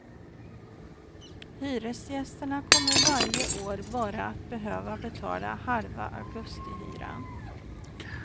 Hyresgästerna kommer varje år bara att behöva betala halva augustihyran.